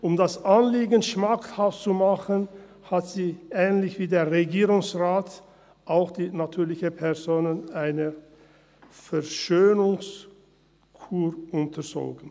Um das Anliegen schmackhaft zu machen, hat sie – ähnlich wie der Regierungsrat – auch die natürlichen Personen einer Verschönerungskur unterzogen.